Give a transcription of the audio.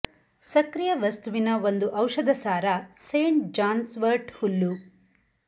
ಸಕ್ರಿಯ ವಸ್ತುವಿನ ಒಂದು ಔಷಧ ಸಾರ ಸೇಂಟ್ ಜಾನ್ಸ್ ವರ್ಟ್ ಹುಲ್ಲು